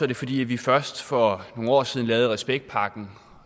det fordi vi først for nogle år siden lavede respektpakken